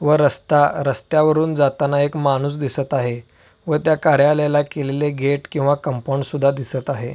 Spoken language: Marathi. व रस्ता रस्त्यावरून जाताना एक माणूस दिसत आहे व त्या कार्यालयाला केलेले गेट किंवा कंपाऊंड सुद्धा दिसत आहे.